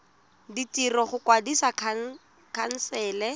tsa ditiro go kwadisa khansele